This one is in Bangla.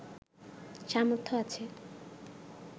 সামর্থ্য আছে